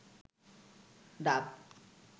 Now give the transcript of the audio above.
ডাব